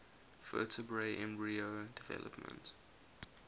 vertebrate embryo development